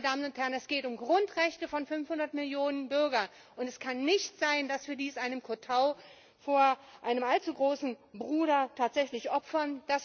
Meine Damen und Herren, es geht um Grundrechte von 500 Millionen Bürgern und es kann nicht sein, dass wir dies mit einem Kotau vor einem allzu großen Bruder tatsächlich opfern!